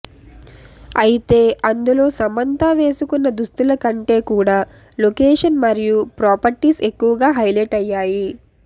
అయితే అందులో సమంత వేసుకున్న దుస్తుల కంటే కూడా లొకేషన్ మరియు ప్రాపర్టీస్ ఎక్కువగా హైలైట్ అయ్యాయి